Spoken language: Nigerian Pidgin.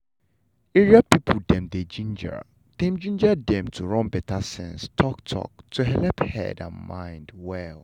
area people dem dey ginger dem ginger dem to run better sense talk-talk to helep head and mind well.